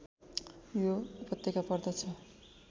यो उपत्यका पर्दछ